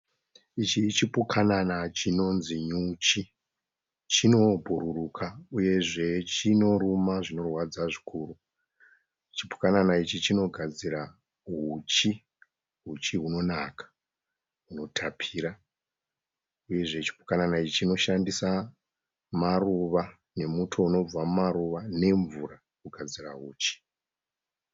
Ichi chipukanana chinonzi nyuchi, chinobhururuka uyezve chinoruma zvinorwadza zvikuru. Chipukanana ichi chinogadzIra huchi. Huchi hunonaka, hunotapira uyezve chipukanana ichi chinoshandisa maruva nemuto unobva mumaruva nemvura kugadzira huchi.